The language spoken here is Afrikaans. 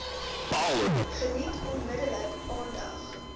geniet onmiddellik aandag